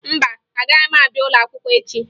Mba, agaghị m abịa ụlọakwụkwọ echi